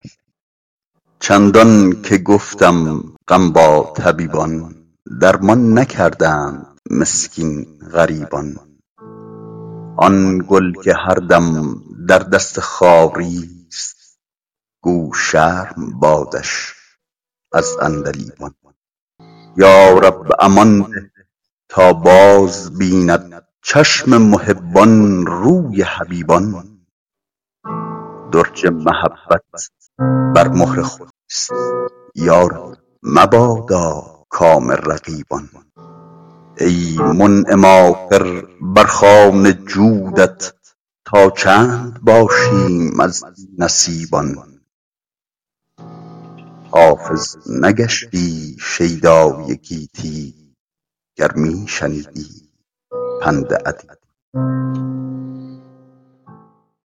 چندان که گفتم غم با طبیبان درمان نکردند مسکین غریبان آن گل که هر دم در دست بادیست گو شرم بادش از عندلیبان یا رب امان ده تا بازبیند چشم محبان روی حبیبان درج محبت بر مهر خود نیست یا رب مبادا کام رقیبان ای منعم آخر بر خوان جودت تا چند باشیم از بی نصیبان حافظ نگشتی شیدای گیتی گر می شنیدی پند ادیبان